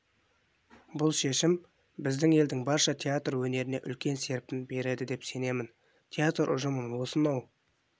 бұл шешім біздің елдің барша театр өнеріне үлкен серпін береді деп сенемін театр ұжымын осынау